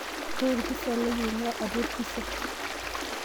koree orpisa lai oingua atua orpisa